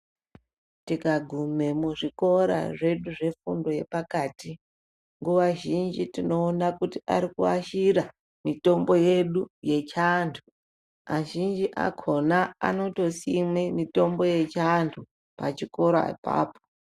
Tikaguma muzvikora zvefundo yepakati nguwa zhinji tinoona kuti arikuashira mitombo yedu yechiantu, azhinji akona anotosime mitombo yechiantu pachikora ipapo.